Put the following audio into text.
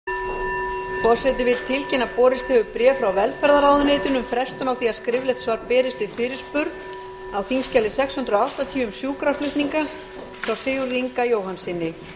forseti vil tilkynna að borist hefur bréf frá velferðarráðuneytinu um frestun á því að skriflegt svar berist við fyrirspurn á þingskjali sex hundruð áttatíu um sjúkraflutninga frá sigurði inga jóhannssyni